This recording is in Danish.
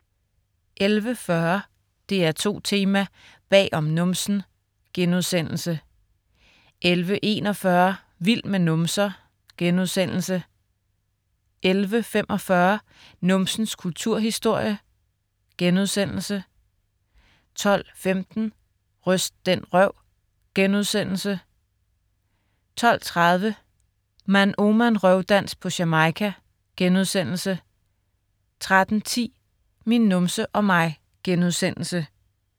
11.40 DR2 Tema: Bag om numsen* 11.41 Vild med numser* 11.45 Numsens kulturhistorie* 12.15 Ryst den røv* 12.30 Man Ooman Røvdans på Jamaica* 13.10 Min numse og mig*